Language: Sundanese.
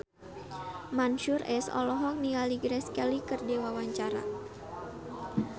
Mansyur S olohok ningali Grace Kelly keur diwawancara